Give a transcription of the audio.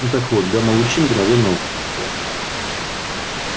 ну так вот гамма-лучи мгновенно убьют тебя